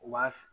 U b'a f